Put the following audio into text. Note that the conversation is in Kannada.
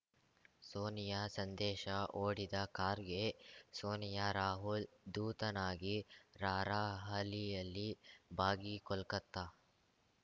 ಸೋನಿಯಾ ಸಂದೇಶ ಓಡಿದ ಖಾರ್ಗೆ ಸೋನಿಯಾ ರಾಹುಲ್‌ ದೂತನಾಗಿ ರಾರ‍ಹಲಿಯಲ್ಲಿ ಭಾಗಿ ಕೋಲ್ಕತ್ತ